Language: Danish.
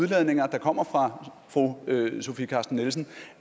udladninger der kommer fra fru sofie carsten nielsen